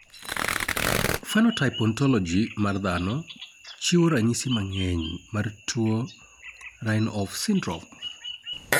Phenotype Ontology mar dhano chiwo ranyisi mang'eny mar tuo Rienhoff syndrome